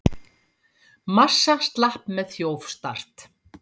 Massa slapp með þjófstart